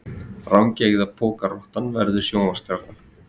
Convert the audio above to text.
Rangeygða pokarottan verður sjónvarpsstjarna